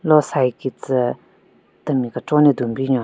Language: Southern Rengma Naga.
Lo side kistü temi kechon ne dun binyon.